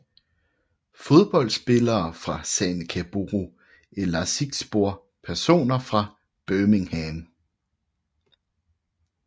Fodboldspillere fra Sanica Boru Elazığspor Personer fra Birmingham